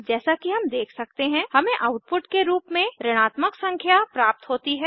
जैसा कि हम देख सकते हैं हमें आउटपुट के रूप में ऋणात्मक संख्या प्राप्त होती है